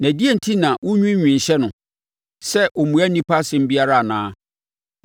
Na adɛn enti na wonwiinwii hyɛ no sɛ ɔmmua onipa nsɛm biara anaa?